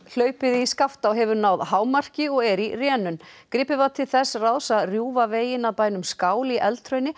hlaupið í Skaftá hefur náð hámarki og er í rénun gripið var til þess ráðs að rjúfa veginn að bænum skál í